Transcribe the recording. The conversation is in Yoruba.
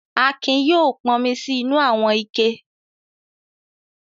Akin yóò pọnmi sí inú àwọn ike.